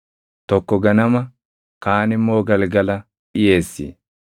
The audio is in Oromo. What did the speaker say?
tokko ganama, kaan immoo galgala dhiʼeessi.